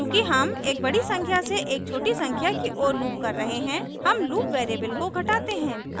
चूँकि हम एक बड़ी संख्या से एक छोटी संख्या की ओर loop कर रहे हैं हम loop variable को घटाते हैं